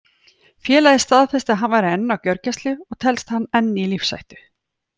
Félagið staðfesti að hann væri enn á gjörgæslu og telst hann enn í lífshættu.